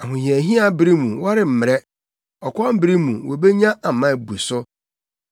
Ahohiahia bere mu wɔremmrɛ. Ɔkɔm bere mu wobenya ama abu so.